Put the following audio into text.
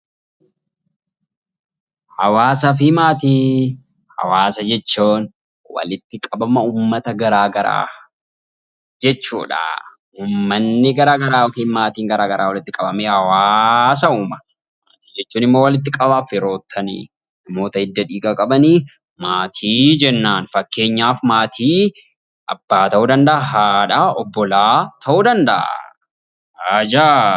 Hawaasaa fi maatii Hawaasa jechuun walitti qabama uummata garaagaraa jechuudha. Uumanni garaagaraa yookiin maatiin garaagaraa walitti qabamee hawaasa uuma. Maatii jechuun immoo walitti qabama firoottanii fi hidda dhiigaa qabaniin maatii jennaan. Fakkeenyaaf abbaa ta'uu danda'a, haadha ta'uu danda'a, obbolaa ta'uu danda'a. Ajaaiba!